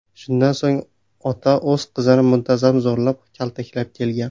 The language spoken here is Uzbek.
Shundan so‘ng ota o‘z qizini muntazam zo‘rlab, kaltaklab kelgan.